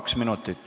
Kaks minutit.